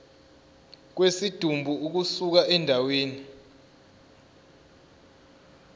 kwesidumbu ukusuka endaweni